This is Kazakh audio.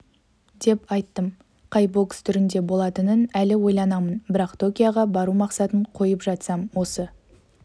деп айттым қай бокс түрінде болатынын әлі ойланамын бірақ токиоға бару мақсатын қойып жатсам осы